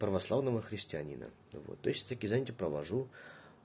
православного христианина вот то есть такие занятия провожу